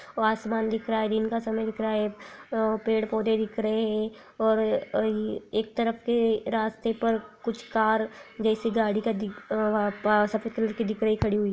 और आसमान दिख रहा है दिन का समय दिख रहा है अ-- पेड़-पौधे दिख रहे है और ये एक तरफ के रास्ते पर कुछ कार जैसे गाड़ी का दिख-- वहाँ पास सफेद कलर के